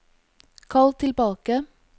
kall tilbake